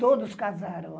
Todos casaram.